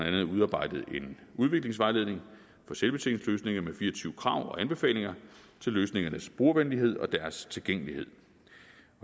andet udarbejdet en udviklingsvejledning for selvbetjeningsløsninger med fire og tyve krav og anbefalinger til løsningernes brugervenlighed og deres tilgængelighed